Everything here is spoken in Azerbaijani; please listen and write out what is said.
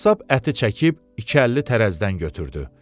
Qəssab əti çəkib iki əlli tərəzidən götürdü.